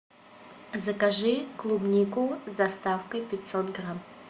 закажи клубнику с доставкой пятьсот грамм